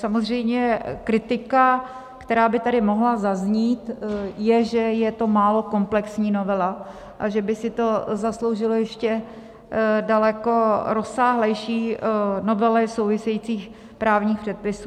Samozřejmě kritika, která by tady mohla zaznít, je, že je to málo komplexní novela a že by si to zasloužilo ještě daleko rozsáhlejší novely souvisejících právních předpisů.